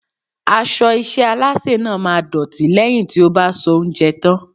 Aṣọ iṣẹ́ Alásè náà máa dọ̀tí lẹ́yìn tí ó bá soúnjẹ tán.